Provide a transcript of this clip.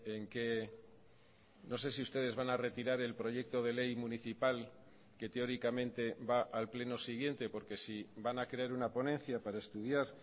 en qué no sé si ustedes van a retirar el proyecto de ley municipal que teóricamente va al pleno siguiente porque si van a crear una ponencia para estudiar